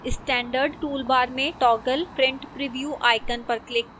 standard toolbar में toggle print preview icon पर click करें